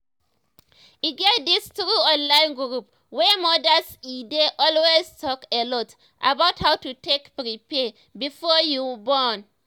e get dis true online group wey modas edey always talk a lot about how to take prepare before you born